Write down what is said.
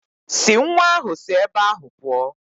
Si nwa ahụ si ebe ahụ pụọ.